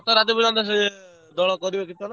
କେତେ ରାତି ପର୍ଯନ୍ତ ସେ ଦୋଳ କରିବେ କୀର୍ତ୍ତନ?